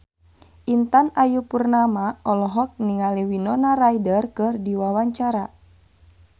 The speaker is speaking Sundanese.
Intan Ayu Purnama olohok ningali Winona Ryder keur diwawancara